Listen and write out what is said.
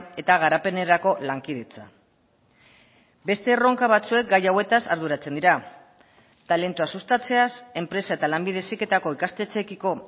eta garapenerako lankidetza beste erronka batzuek gai hauetaz arduratzen dira talentua sustatzeaz enpresa eta lanbide heziketako ikastetxeekiko